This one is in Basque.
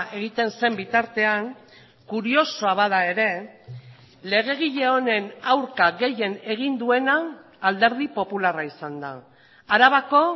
egiten zen bitartean kuriosoa bada ere legegile honen aurka gehien egin duena alderdi popularra izan da arabako